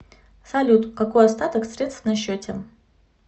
салют какой остаток средств на счете